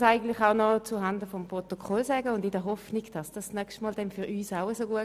Zuhanden des Protokolls weise ich aber trotzdem noch auf Folgendes hin: